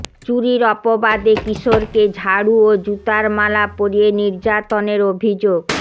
চুরির অপবাদে কিশোরকে ঝাড়ু ও জুতার মালা পরিয়ে নির্যাতনের অভিযোগ